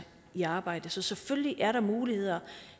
i arbejde så selvfølgelig er der muligheder